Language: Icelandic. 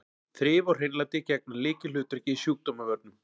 Þrif og hreinlæti gegna lykilhlutverki í sjúkdómavörnum.